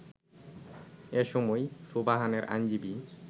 এ সময় সুবহানের আইনজীবী